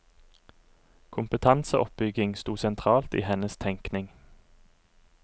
Kompetanseoppbygging sto sentralt i hennes tenkning.